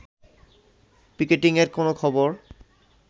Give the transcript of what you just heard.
পিকেটিংয়ের কোনো খবর